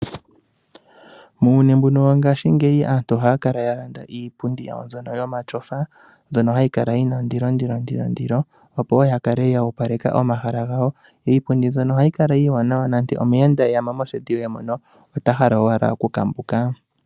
Muuyuni wongashisheyi aantu ohaya kala ye na iipundi mbyono yomatyofa, mbyono hayi kala yi na ondilondilo opo ya kale yo opaleka omahala gawo. Iipundi mbyono ohayi kala iiwanawa nande omuyenda e ya mo moseti yoye mono ota hala owala nokukambuka.